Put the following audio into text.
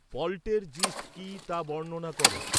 poltergeist' কী তা বর্ণনা কর